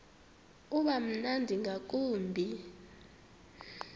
uba mnandi ngakumbi